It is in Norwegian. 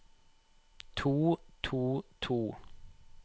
to to to